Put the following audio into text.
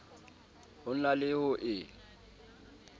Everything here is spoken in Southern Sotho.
ho na le ho e